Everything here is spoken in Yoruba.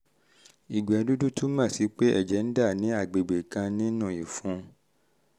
ìgbẹ́ dúdú túmọ̀ sí pé ẹ̀jẹ̀ ń dà ní agbègbè kan nínú ìfun (g